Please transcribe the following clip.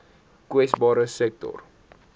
kwesbare sektore